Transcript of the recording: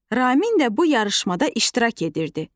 Ramin də bu yarışmada iştirak edirdi.